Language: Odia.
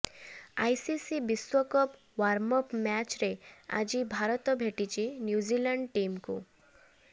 ଆଇସିସି ବିଶ୍ୱକପ ୱାର୍ମଅପ୍ ମ୍ୟାଚ୍ରେ ଆଜି ଭାରତ ଭେଟିଛି ନ୍ୟୁଜିଲାଣ୍ଡ ଟିମ୍କୁ